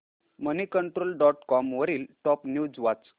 Moneycontrol dot com वरील top news वाच